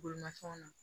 Bolimafɛnw na